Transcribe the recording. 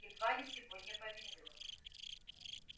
едва ли и сегодня повезёт